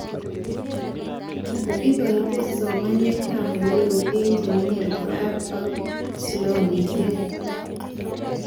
Ikotee somaneteab olelo eng chemenye reserve ak slumishek